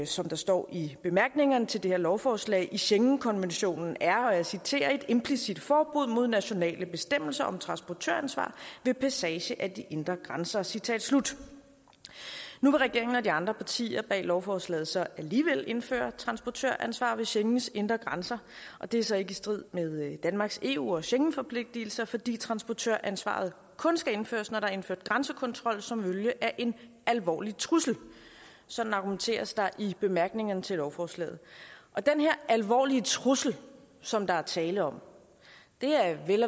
som der står i bemærkningerne til det her lovforslag at der i schengenkonventionen er og jeg citerer et implicit forbud mod nationale bestemmelser om transportøransvar ved passage af de indre grænser citat slut nu vil regeringen og de andre partier bag lovforslaget så alligevel indføre transportøransvar ved schengens indre grænser og det er så ikke i strid med danmarks eu og schengenforpligtelser fordi transportøransvaret kun skal indføres når der er indført grænsekontrol som følge af en alvorlig trussel sådan argumenteres der i bemærkningerne til lovforslaget den her alvorlige trussel som der er tale om er vel